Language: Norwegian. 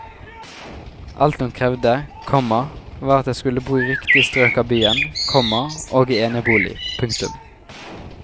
Alt hun krevde, komma var at de skulle bo i riktig strøk av byen, komma og i enebolig. punktum